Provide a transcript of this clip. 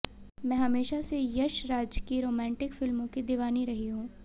मैं हमेशा से यश राज की रोमांटिक फिल्मों की दीवानी रही हूं